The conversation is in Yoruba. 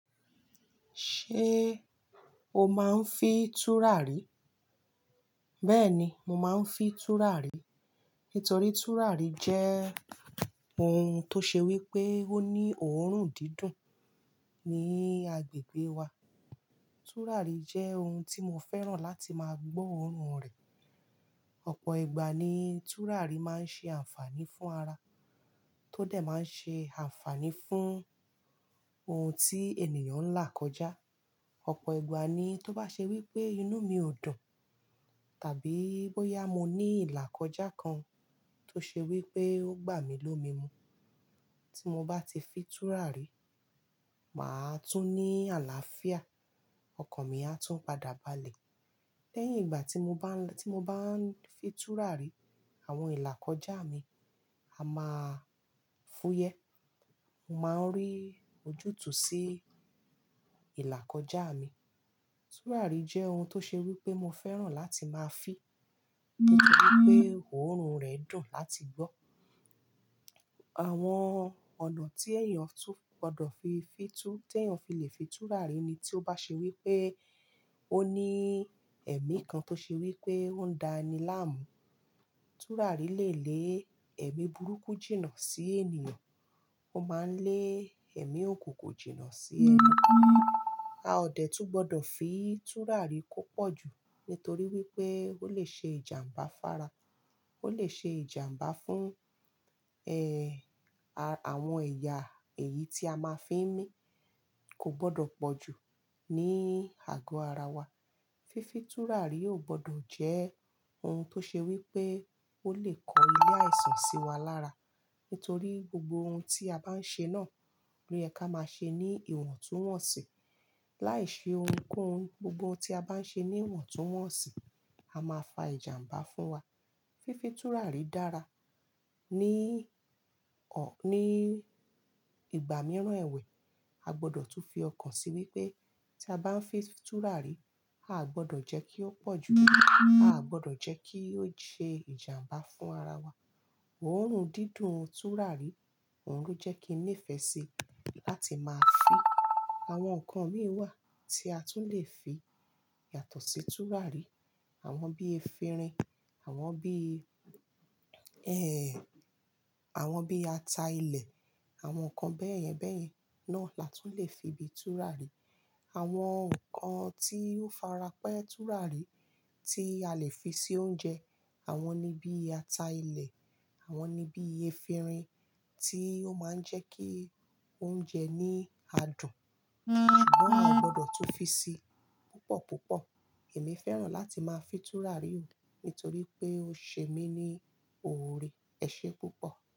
Ṣé o máa ń fi tùràrí? Bẹ́ẹ̀ni, mo máa ń fi tùràrí. Nítorí tùràrí jẹ́ ohun tó ṣe wí pé ó ní òórùn dídùn ní agbègbè wa. Tùràrí jẹ́ ohun tí mo fẹ́ràn láti máa gbọ́ òórùn rẹ̀. Ọ̀pọ̀ ìgbà ni tùràrí máa ń ṣe àǹfààní fún ara, tó dà máa ń ṣe àǹfààní fún ohun tí ènìyàn ń là kọjá. Ọ̀pọ̀ ìgbà ni tó bá ṣe wí pé inú mi ò dùn, tàbí bóyá mo ní ìlà kọjá kan tó ṣe wí pé ó gbà mí lómi mu, tí mo bá ti fi tùràrí, mà á tún ní àlàáfíà, ọkàn mi á tún padà balẹ̀. Lẹ́yìn ìgbà tí mo bá ń, tí mo bá ń fi tùràrí, àwọn ìlà kọjá mi á máa fúyẹ́. Mo máa ń rí ojútùú sí ìlà kọjá mi. Tùràrí jẹ́ ohun tó ṣe wí pé mo fẹ́ràn láti máa fi. Nítorí pé òórùn rẹ̀ dùn láti gbọ́. Àwọn ọ̀nà tí èèyàn tún gbọdọ̀ fi fìtú, tí èèyàn fi lè fi tùràrí ni tí ó bá ṣe wí pé ó ní ẹ̀mí kan tó ṣe wí pé ó ń da ni láàmú. Tùràrí lè lé ẹ̀mí burúkú jìnnà sí ènìyàn. Ó máa ń lé ẹ̀mí òkùnkùn jìnnà sí ẹnu. A ò dẹ̀ tú gbọdọ̀ fi tùràrí kó pọ̀ jù, nítorí wípé ó lè ṣe ìjàmbá fara. Ó lè ṣe ìjàmbá fún, ẹ, à, àwọn ẹ̀yà èyí tí a máa ń fi mí. Kò gbọdọ̀ pọ̀ jù ní àgọ́ ara wa. Fífi tùràrí ò gbọdọ̀ jẹ́ ohun tó ṣe wí pé ó lè kọ ilé àìsàn sí wa lára. Nítorí gbogbo ohun tí a bá ń ṣe náà, ló yẹ ká máa ṣe ní ìwọ̀ntúnwọ̀nsì. Láìṣe ohunkóhun, gbogbo ohun tí a bá ń ṣe ní ìwọ̀ntúnwọ̀nsì, á máa fa ìjàmbá fún wa. Fífi tùràrí dára. Ní ọ̀, ní ìgbà mìíràn ẹ̀wẹ̀, a gbọdọ̀ tún fi ọkàn sí wípé tí a bá ń fi tùràrí, a ò gbọdọ̀ jẹ́ kí ó pọ̀ jù. A ò gbọdọ̀ jẹ́ kí ó ṣe ìjàmbá fún ara wa. Òórùn dídùn tùràrí òun ló jẹ́ kí n nífẹ̀ẹ́ sí i láti máa fi. Àwọn ǹkan mìíràn wà tí a tún lè fi yàtọ̀ sí tùràrí. Àwọn bí efinrin, àwọn bí, ẹ, àwọn bí ata ilẹ̀, àwọn ǹkan bẹ́ẹ̀ yẹn bẹ́ẹ̀ yẹn náà la tún lè fi bí tùràrí. Àwọn ǹkan tí ó fara pẹ́ tùràrí tí a lè fi sí oúnjẹ, àwọn ni bí ata ilẹ̀, àwọn ni bí efinrin tí ó máa ń jẹ́ kí oúnjẹ ní adùn. Ṣùgbọ́n a ò gbọdọ̀ tún fi sí i púpọ̀ púpọ̀. Èmi fẹ́ràn láti máa fi tùràrí nù nítorí pé ó ṣe mí ní oore. Ẹ ṣé púpọ̀.